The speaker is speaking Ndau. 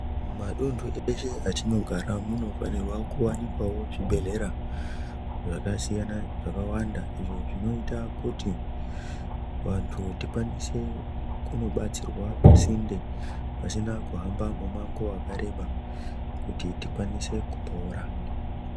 Matundu eshe etinogara munofanirwawo kuwanikwa zvibhehlera zvakasiyana zvakawanda izvo zvinoita kuti vantu tikwanise kunobatsirwa pasinde pasina kuhamba mumango wakareba kuti tikwanise kupora.